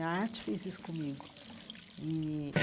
A arte fez isso comigo e.